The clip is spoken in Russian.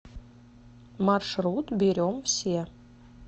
маршрут берем все